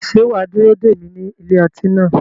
Ṣé wà á dúró dè mí ní ilé ọtí náà?